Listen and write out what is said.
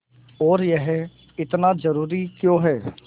और यह इतना ज़रूरी क्यों है